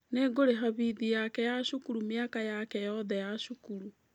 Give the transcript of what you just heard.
Nĩ ngũrĩha bithi yake ya cukuru mĩaka yake yothe ya cukuru.